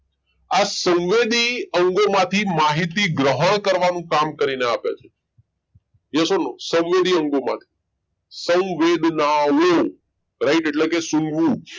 આ સંવેદી અંગોમાંથી માહિતી ગ્રહણ કરવાનું કામ કરીને આપે છે yes or no સંવેદી અંગો માંથી સંવેદનાઓ right એટલે કે સુંગવુ જ